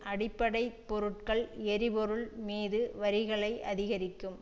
அடிப்படை பொருட்கள் எரிபொருள் மீது வரிகளை அதிகரிக்கும்